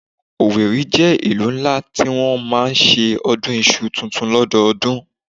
Owerri jẹ́ ìlú ńlá tí wọ́n ti máa ń ṣe ọdún iṣu tuntun lọ́dọọdún